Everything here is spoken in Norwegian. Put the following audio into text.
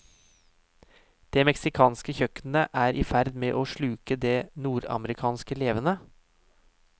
Det meksikanske kjøkkenet er i ferd med å sluke det nordamerikanske levende.